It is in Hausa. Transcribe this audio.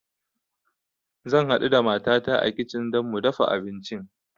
Zan haɗu da matata a kitchen don mu dafa abincin